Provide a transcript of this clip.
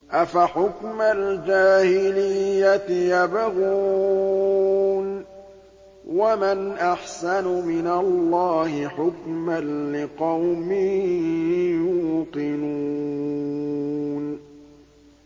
أَفَحُكْمَ الْجَاهِلِيَّةِ يَبْغُونَ ۚ وَمَنْ أَحْسَنُ مِنَ اللَّهِ حُكْمًا لِّقَوْمٍ يُوقِنُونَ